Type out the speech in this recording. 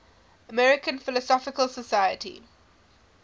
american philosophical society